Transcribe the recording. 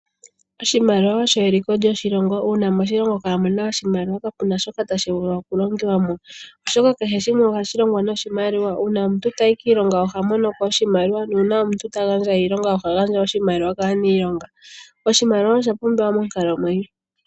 Oshimaliwa osho eliko lyoshilongo. Uuna moshilongo kaamu na oshimaliwa kapu na shoka tashi vulu okulongwa po, oshoka kehe shimwe ohashi longwa noshimaliwa. Uuna omuntu tayi kiilonga oha mono ko oshimaliwa. Uuna omuntu a gandja iilonga oha gandja oshimaliwa kaaniilonga. Oshimaliwa osha pumbiwa monkalamwenyo.